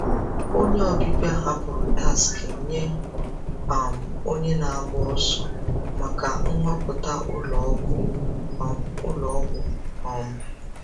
Onye ọbịbịa hapụrụ taksị nye um onye na-agba ọsọ maka nhọpụta ụlọ ọgwụ. um ụlọ ọgwụ. um